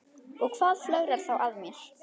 Og hvað flögrar þá að mér?